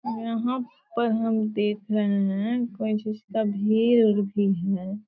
यहाँ पर हम देख रही है कोई चीज़ का भीड़ भी है ।